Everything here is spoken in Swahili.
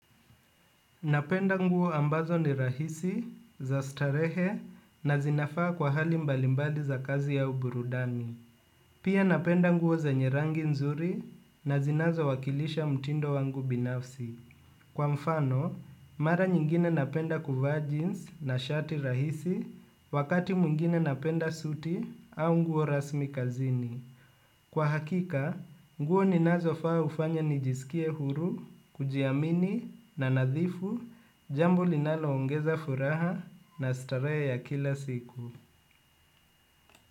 Napenda nguo ambazo ni rahisi za starehe na zinafaa kwa hali mbalimbali za kazi au burudani. Pia napenda nguo zenye rangi nzuri na zinazowakilisha mtindo wangu binafsi. Kwa mfano, mara nyingine napenda kuvaa jeans na shati rahisi wakati mwingine napenda suti au nguo rasmi kazini. Kwa hakika, nguo ninazofaa ufanya nijisikie huru, kujiamini na nadhifu, jambo linaloongeza furaha na starehe ya kila siku.